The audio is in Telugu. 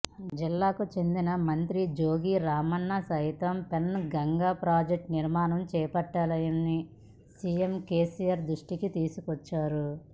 జిల్లాకు చెందిన మంత్రి జోగు రామన్న సైతం పెన్ గంగ ప్రాజెక్టు నిర్మాణం చేపట్టాలని సీఎం కేసీఆర్ దృష్టికి తీసుకొచ్చారు